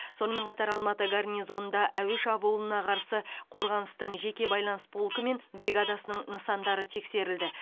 сонымен қатар алматы гарнизонында әуе шабуылына қарсы қорғаныстың жеке байланыс полкі мен бригадасының нысандары тексерілді